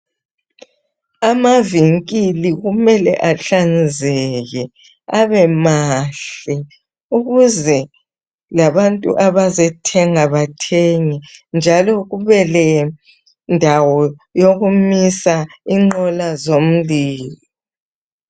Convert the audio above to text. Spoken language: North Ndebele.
Amavinkili kumele ahlanzeke abemahle ukuze labantu abazethenga bathenge .Njalo kube lendawo yokumisa ingqolo zomlilo.